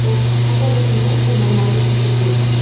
покажи кино я нормальный супер гуд